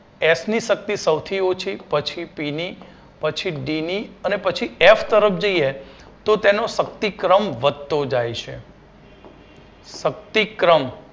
F ની શક્તિ સૌથી ઓછી પછી પી ની પછી ડી ની અને પછી એફ તરફ જઈએ તો તેનો શક્તિક્રમ વધતો જાય છે શક્તિક્રમ